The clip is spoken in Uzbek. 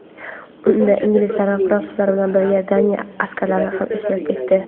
Unda inglizlar va fransuzlar bilan birga Daniya askarlari ham ishtirok etdi.